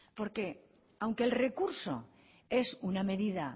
porque aunque el recurso es una medida